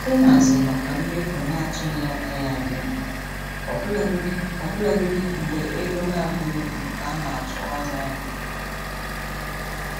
Ịhazi maka mmefu na-atụghị anya ya dị mkpa ọbụlagodi ọbụlagodi mgbe ego na-abụghị nke a na-atụ anya ya.